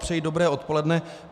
Přeji dobré odpoledne.